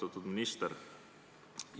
Austatud minister!